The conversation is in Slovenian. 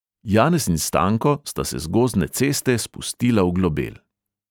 Janez in stanko sta se z gozdne ceste spustila v globel.